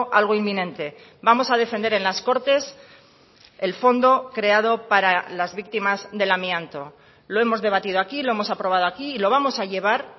algo inminente vamos a defender en las cortes el fondo creado para las víctimas del amianto lo hemos debatido aquí lo hemos aprobado aquí y lo vamos a llevar